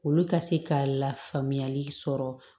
Olu ka se ka lafaamuyali sɔrɔ